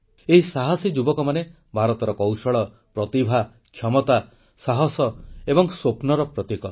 ଏହି ସାହସୀ ଯୁବକମାନେ ଭାରତର କୌଶଳ ପ୍ରତିଭା କ୍ଷମତା ସାହସ ଏବଂ ସ୍ୱପ୍ନର ପ୍ରତୀକ